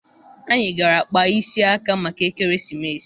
Anyị gara kpaa isi aka maka ekeresimesi